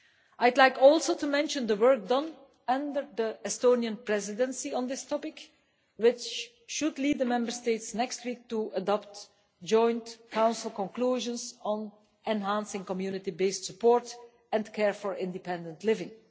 I would also like to mention the work done under the Estonian Presidency on this topic, which should lead the Member States next week to adopt the Joint Council Conclusions on enhancing community based support and care for independent living.